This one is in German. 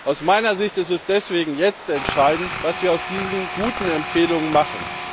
Aus meiner Sicht ist es deswegen jetzt entscheidend, was wir aus diesen guten Empfehlungen machen.